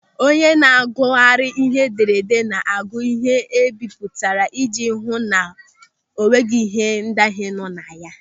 Onye na-agụgharị ihe edere ede na-agụ ịhe e bipụtara ijji ihu na o nweghị ndahie nọ na ya.